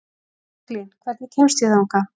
Franklín, hvernig kemst ég þangað?